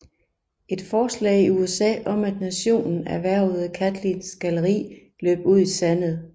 Et forslag i USA om at nationen erhvervede Catlins galleri løb ud i sandet